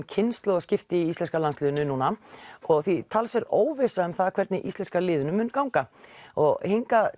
kynslóðaskipti í íslenska landsliðinu núna og því talsverð óvissa um það hvernig íslenska liðinu mun ganga og hingað